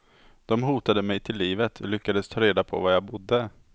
De hotade mig till livet, lyckades ta reda på var jag bodde.